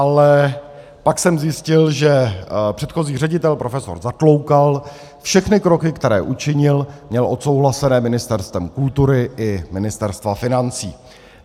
Ale pak jsem zjistil, že předchozí ředitel profesor Zatloukal všechny kroky, které učinil, měl odsouhlasené Ministerstvem kultury i Ministerstvem financí.